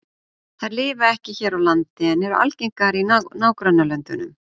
Þær lifa ekki hér á landi, en eru algengar í nágrannalöndunum.